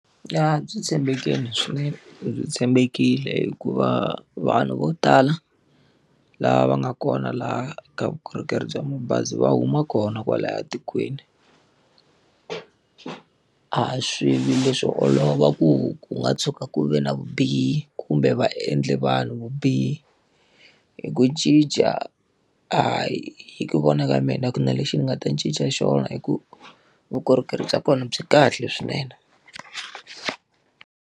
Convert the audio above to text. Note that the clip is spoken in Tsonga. Ya byi tshembekile swinene byi tshembekile hikuva vanhu vo tala lava nga kona laha ka vukorhokeri bya mabazi va huma kona kwalaya tikweni. A swi vi leswo olova ku ku nga tshuka ku ve na vubihi kumbe va endle vanhu vubihi. Hi ku cinca, a hi ku vona ka mina a ku na lexi ni nga ta cinca xona hikuva vukorhokeri bya kona byi kahle swinene.